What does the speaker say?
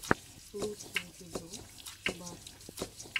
лучший эпизод барт